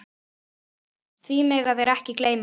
Því mega þeir ekki gleyma.